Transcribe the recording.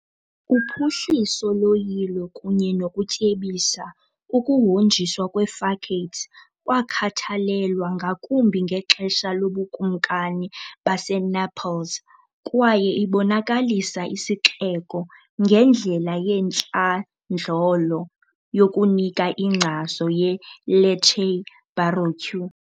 Uphuhliso loyilo kunye nokutyebisa okuhonjiswa kwee-facades kwakhathalelwa ngakumbi ngexesha loBukumkani baseNaples kwaye ibonakalisa isixeko ngendlela yantlandlolo yokunika inkcazo yeLecce Baroque .